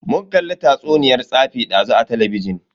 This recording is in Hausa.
Mun kalli tatsuniyan tsafi dazu a talabijin.